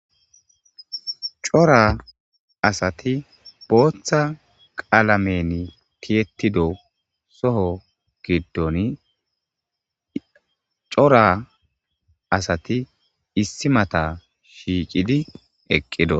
cora asati booththa qaalamen tiyettido soho giddoni cora asati issi mata shiicidi eqqido